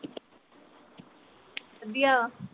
ਵਧੀਆ